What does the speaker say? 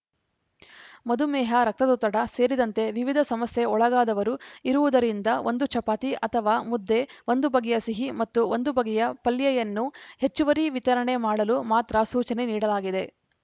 ಮಧುಮೇಹ ರಕ್ತದೊತ್ತಡ ಸೇರಿದಂತೆ ವಿವಿಧ ಸಮಸ್ಯೆ ಒಳಗಾದವರು ಇರುವುದರಿಂದ ಒಂದು ಚಪಾತಿ ಅಥವಾ ಮುದ್ದೆ ಒಂದು ಬಗೆಯ ಸಿಹಿ ಮತ್ತು ಒಂದು ಬಗೆಯ ಪಲ್ಯೆಯನ್ನು ಹೆಚ್ಚುವರಿ ವಿತರಣೆ ಮಾಡಲು ಮಾತ್ರ ಸೂಚನೆ ನೀಡಲಾಗಿದೆ